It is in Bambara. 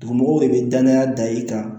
Dugumɔgɔw de bɛ danaya da i kan